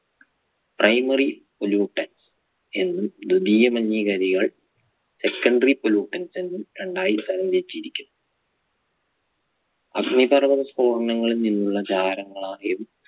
primary polluted എന്നും ദ്വീദീയ മലിനീകാരികൾ secondary pollutted എന്നും രണ്ടായി തരം തിരിച്ചിരിക്കുന്നു. അഗ്നിപർവ്വത സ്ഫോടനങ്ങളിൽ നിന്നുള്ള ജാരങ്ങളായും